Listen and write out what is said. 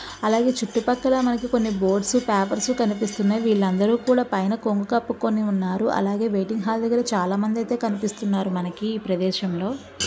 అలాగే చుట్టూ పక్కల మనకి కొన్ని బోర్డుస్ పేపర్స్ కనిపిస్తున్నాయి. వీళ్ళు అందరు కూడా పైన కొంగు కప్పుకొని ఉన్నారు . అలాగే వెయిటింగ్ హాల్ దగ్గర చాలా మంది అయితే కనిపిస్తున్నారు. మనకి ఈ ప్రదేశంలో--